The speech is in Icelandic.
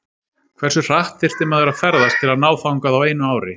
hversu hratt þyrfti maður að ferðast til að ná þangað á einu ári